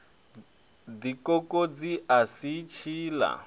ḓi kokodza a si tshiḽa